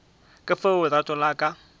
ka fao lerato la ka